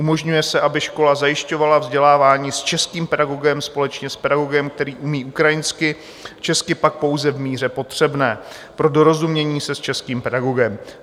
Umožňuje se, aby škola zajišťovala vzdělávání s českým pedagogem společně s pedagogem, který umí ukrajinsky, česky pak pouze v míře potřebné pro dorozumění se s českým pedagogem.